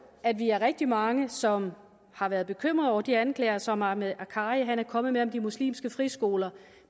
at vi er rigtig mange som har været bekymret over de anklager som ahmed akkari er kommet med om de muslimske friskoler